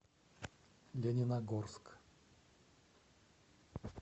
лениногорск